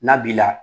N'a b'i la